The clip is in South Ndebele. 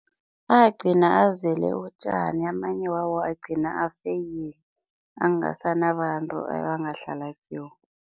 Agcina azele utjani amanye wawo agcina afeyila, angasanabantu ebangadlala kiwo.